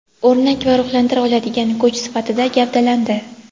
O‘rnak va ruhlantira oladigan kuch sifatida gavdalandi.